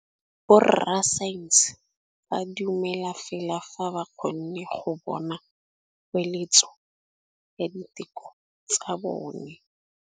Borra saense ba dumela fela fa ba kgonne go bona poeletsô ya diteko tsa bone.